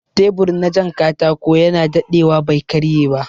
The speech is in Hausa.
Tebur na jan katako yana daɗewa bai karye ba